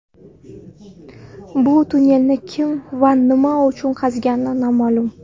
Bu tunnelni kim va nima uchun qazigani noma’lum.